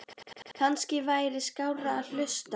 Kannski væri skárra að hlusta